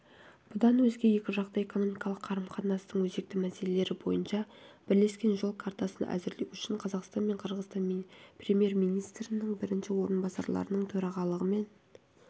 бұдан өзге екіжақты экономикалық қарым-қатынастың өзекті мәселелері бойынша бірлескен жол картасын әзірлеу үшін қазақстан мен қырғызстанның премьер-министрлерінің бірінші орынбасарларының төрағалығымен